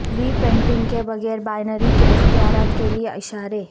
ری painting کے بغیر binary کے اختیارات کے لئے اشارے